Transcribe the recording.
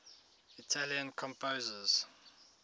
italian composers